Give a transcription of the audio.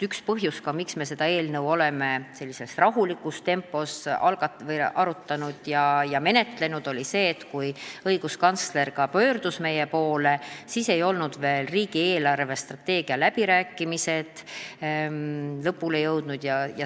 Üks põhjus, miks me oleme arutanud ja menetlenud seda eelnõu sellises rahulikus tempos, on see, et kui õiguskantsler meie poole pöördus, siis ei olnud veel riigi eelarvestrateegia läbirääkimised lõpule jõudnud.